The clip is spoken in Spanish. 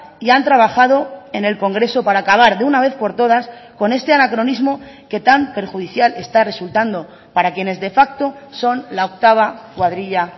y han trabajado en el congreso para acabar de una vez por todas con este anacronismo que tan perjudicial está resultando para quienes de facto son la octava cuadrilla